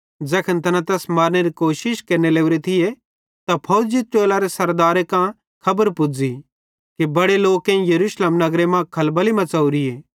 ज़ैखन तैना तैस मारनेरी कोशिश केरने लवरे थिये त फौजी टोलरे सरदारे कां खबर पुज़ी कि बड़े लोकेईं यरूशलेम नगरे मां खलबली मच़ोरीए